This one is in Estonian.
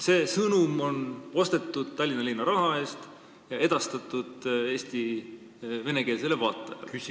" See sõnum on ostetud Tallinna linna raha eest ja edastatud Eesti venekeelsele vaatajale.